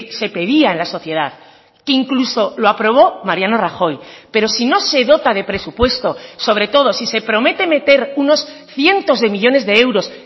se pedía en la sociedad que incluso lo aprobó mariano rajoy pero si no se dota de presupuesto sobre todo si se promete meter unos cientos de millónes de euros